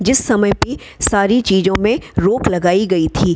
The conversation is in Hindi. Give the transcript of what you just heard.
जिस समय पे काफी सारे चीजों में रोक लगायी गइ थी ।